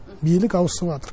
билік ауысыватыр